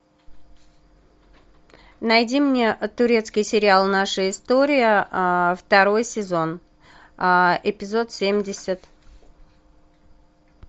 найди мне турецкий сериал наша история второй сезон эпизод семьдесят